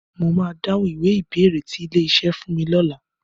Mo máa dáhùn ìwé ìbéèrè tí ilé-iṣẹ́ fún mi lọ́la.